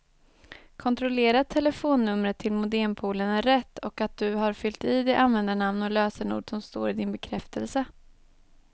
Kontrollera att telefonnumret till modempoolen är rätt och att du har fyllt i det användarnamn och lösenord som står i din bekräftelse.